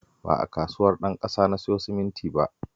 Ba a Kasuwar Ɗanƙasa na siyo simintin ba